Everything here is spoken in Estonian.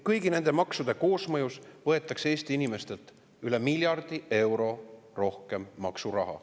Kõigi nende maksude koosmõjus võetakse Eesti inimestelt üle miljardi euro rohkem maksuraha.